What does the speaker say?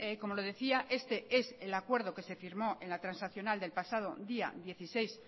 como le decía este es el acuerdo que se firmó en la transaccional del pasado día dieciséis